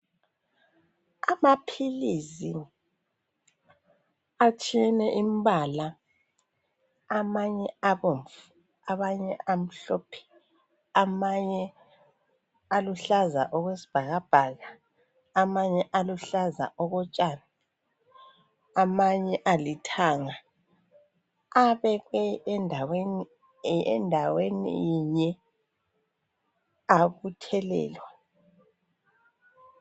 Amaphilisi atshiyene imbala, amanye abomvu amanye amhlophe amanye aluhlaza okwesibhakabhaka amanye aluhlaza okotshani amanye alithanga. Abekwe endaweni inye abuthelelwa.